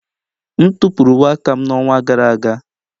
M tụpụrụ uwe aka m n'ọnwa gara aga.